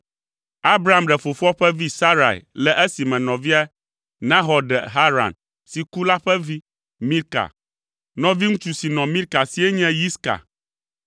Abram ɖe fofoa ƒe vi Sarai le esime nɔvia Nahor ɖe Haran si ku la ƒe vi, Milka. Nɔviŋutsu si nɔ Milka sie nye Yiska.